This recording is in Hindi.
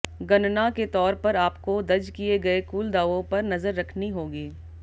गणना के तौर पर आपको दज किए गए कुल दावों पर नजर रखनी होगी